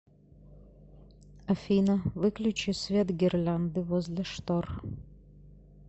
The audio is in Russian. афина выключи свет гирлянды возле штор